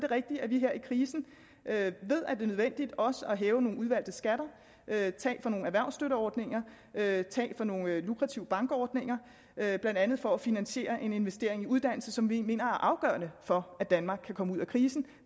rigtigt at vi her i krisen ved at det er nødvendigt også at hæve nogle udvalgte skatter at tage fra nogle erhvervsstøtteordninger at tage fra nogle lukrative bankordninger blandt andet for at finansiere en investering i uddannelse som vi mener er afgørende for at danmark kan komme ud af krisen